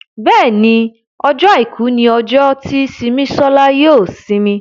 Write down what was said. Béèni Ọjọ́ aìkú ní ojo tí Simisola yóò isimi.